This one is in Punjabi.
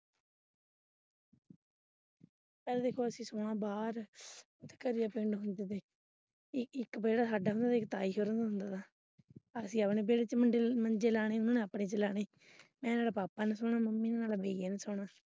ਚੱਲ ਜਦੋਂ ਅਸੀਂ ਸੋਣਾ ਬਾਹਰ ਘਰੇ ਆਪਣੇ ਆਪਣੇ ਮੰਜੇ ਤੇ ਇੱਕ ਵਿਹੜਾ ਸਾਡਾ ਹੋਣਾ ਇੱਕ ਤਾਏ ਸਹੁਰੇ ਦੇ ਮੁੰਡੇ ਦਾ ਅਸੀਂ ਆਪਣੇ ਵਿਹੜੇ ਚ ਮੰਜੇ ਲਗਾਉਣੇ ਉਹਨਾਂ ਨੇ ਆਪਣੇ ਵਿਹੜੇ ਚ ਮੰਜੇ ਲਗਾਉਣੇ ਇੰਨਾਂ ਤੇ ਪਾਪਾ ਨੇ ਸੋਣਾ ਮੰਮੀ ਹੁਣਾ ਨੇ ਵੀਰੇ ਨਾਲ ਸੋਣਾ।